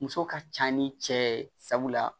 Muso ka ca ni cɛ ye sabula